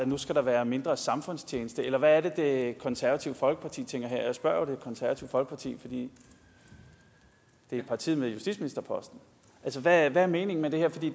nu skal være mindre samfundstjeneste eller hvad er det det konservative folkeparti tænker her jeg spørger jo det konservative folkeparti fordi det er partiet med justitsministerposten altså hvad er meningen med det